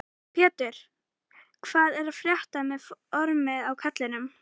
Pétur: Hvað er að frétta með formið á kallinum?